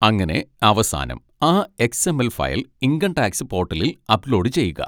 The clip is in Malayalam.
അങ്ങനെ അവസാനം ആ X. M. L file income tax പോട്ടലിൽ അപ്ലോഡ് ചെയ്യുക.